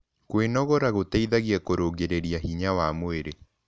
Kwĩnogora gũteĩthagĩa kũrũngĩrĩrĩa hinya wa mwĩrĩ